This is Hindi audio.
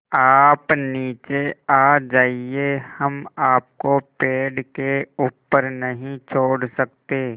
आप नीचे आ जाइये हम आपको पेड़ के ऊपर नहीं छोड़ सकते